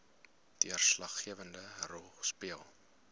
deurslaggewende rol speel